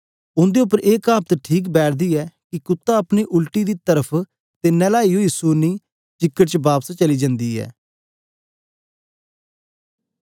उन्दे उप्पर ए कहावत ठीक बैठदी ऐ कि कुत्ता अपनी छांट दी ओर अते नहलाई होए सूअरनी चीकड़ च लोटने दे लेई पी चली जान्दी ऐ